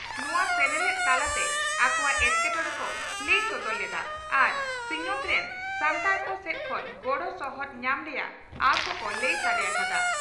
ᱱᱚᱣᱟ ᱥᱮᱱᱮᱞᱮᱫ ᱛᱟᱞᱟ ᱛᱮ ᱟᱠᱚᱣᱟᱜ ᱮᱴᱠᱮᱴᱚᱬᱮ ᱠᱚ ᱞᱟᱹᱭ ᱥᱚᱫᱚᱨ ᱞᱮᱫᱼᱟ ᱟᱨ ᱥᱤᱧᱚᱛ ᱨᱮᱱ ᱥᱟᱱᱛᱟᱲ ᱠᱚ ᱥᱮᱫ ᱠᱷᱚᱱ ᱜᱚᱲᱚ ᱥᱚᱦᱚᱫ ᱧᱟᱢ ᱨᱮᱭᱟᱜ ᱟᱸᱥ ᱦᱚᱸᱠᱚ ᱞᱟᱹᱭ ᱥᱟᱰᱮ ᱟᱠᱟᱫᱼᱟ ᱾